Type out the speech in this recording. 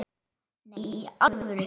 Nei, í alvöru